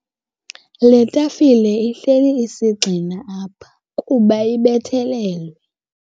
Le tafile ihleli isigxina apha kuba ibethelelwe.